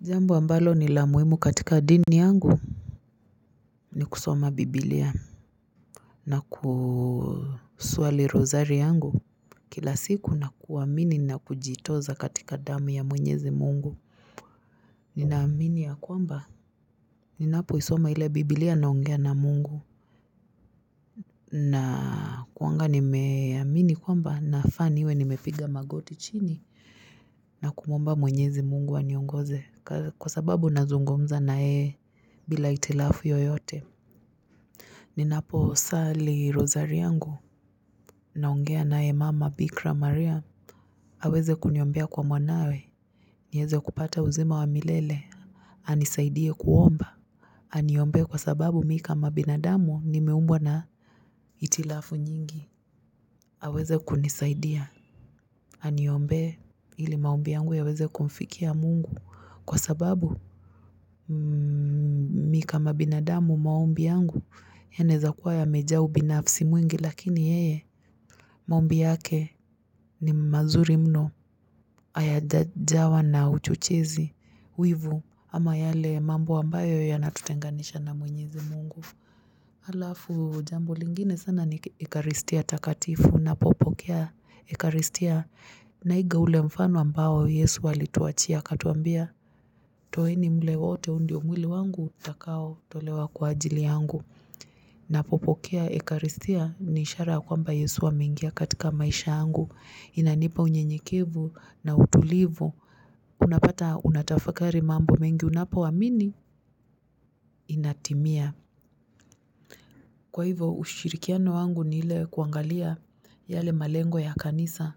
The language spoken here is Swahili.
Jambo ambalo ni la muhimu katika dini yangu ni kusoma bibilia na kusuali rozari yangu Kila siku na kuamini na kujitoza katika damu ya mwenyezi mungu Ninaamini ya kwamba Ninapoisoma ile bibilia naongea na mungu na kuwanga nimeamini kwamba na faa iwe nimepiga magoti chini na kumwomba mwenyezi mungu aniongoze kwa sababu nazungumza na yeye bila itilafu yoyote Ninaposali rozari yangu naongea naye mama Bikra Maria aweze kuniombea kwa mwanawe nieze kupata uzima wa milele anisaidie kuomba aniombee kwa sababu mi ka binadamu nimeumbwa na itilafu nyingi aweze kunisaidia aniombee ili maombi yangu yaweze kumfikia mungu kwa sababu Mi kama binadamu maombi yangu yanaezakuwa yamejaa ubinafsi mwingi lakini yeye maombi yake ni mazuri mno hayajajawa na uchochezi, wivu ama yale mambo ambayo yanatutenganisha na mwenyezi mungu. Halafu jambo lingine sana ni ikaristia takatifu ninapokea ikaristia naiga ule mfano ambao Yesu alituachia akatuambia. Toeni mle wote huu ndio mwili wangu utakao tolewa kwa ajili yangu. Napopokea ekaristia ni ishara kwamba yesu amengia katika maisha yangu inanipa unyenyekivu na utulivu Unapata unatafakari mambo mengi unapoamini inatimia Kwa hivo ushirikiano wangu ni ile kuangalia yale malengo ya kanisa